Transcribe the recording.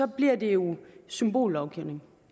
bliver det jo symbollovgivning